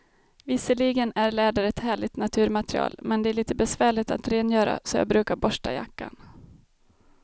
Visserligen är läder ett härligt naturmaterial, men det är lite besvärligt att rengöra, så jag brukar borsta jackan.